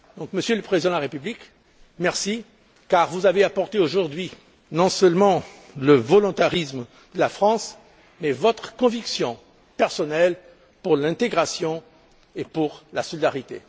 Monsieur le Président de la République, merci, car vous nous avez apporté aujourd'hui non seulement le volontarisme de la France, mais votre conviction personnelle pour l'intégration et pour la solidarité.